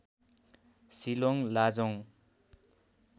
Shillong Lajong